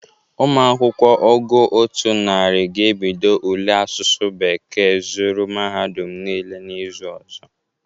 Ụmụ akwụkwọ ogo otu narị ga-ebido ule asụsụ bekee zụrụ mahadum niile na izu ọzọ.